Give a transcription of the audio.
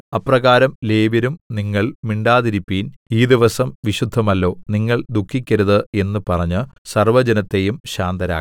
അപ്രകാരം ലേവ്യരും നിങ്ങൾ മിണ്ടാതിരിപ്പിൻ ഈ ദിവസം വിശുദ്ധമല്ലോ നിങ്ങൾ ദുഃഖിക്കരുത് എന്ന് പറഞ്ഞ് സർവ്വജനത്തെയും ശാന്തരാക്കി